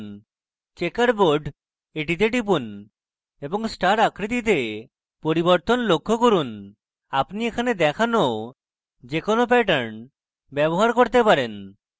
checkerboard এ টিপুন এবং star আকৃতিতে পরিবর্তন লক্ষ্য করুন আপনি এখানে দেখানো যে কোনো প্যাটার্ন ব্যবহার করতে পারেন